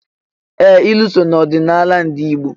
Ee! Ilu so n'ọdịnala ndị Igbo.